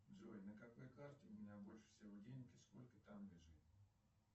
джой на какой карте у меня больше всего денег и сколько там лежит